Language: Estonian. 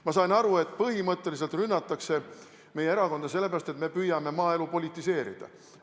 Ma sain aru, et põhimõtteliselt rünnatakse meie erakonda sellepärast, et me püüame maaelu politiseerida.